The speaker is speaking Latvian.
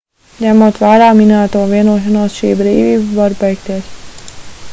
ņemot vērā minēto vienošanos šī brīvība var beigties